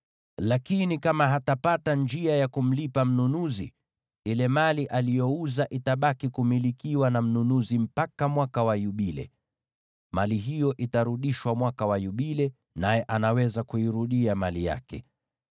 Lakini kama hatapata njia ya kumlipa mnunuzi, ile mali aliyouza itabaki kumilikiwa na mnunuzi mpaka Mwaka wa Yubile. Mali hiyo itarudishwa mwaka wa Yubile, naye ataweza kuirudia mali yake.